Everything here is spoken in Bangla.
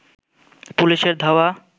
পুলিশের ধাওয়া